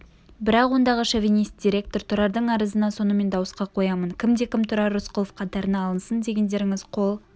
бірақ ондағы шовинист-директор тұрардың арызына сонымен дауысқа қоямын кімде кім тұрар рысқұлов қатарына алынсын дегендеріңіз қол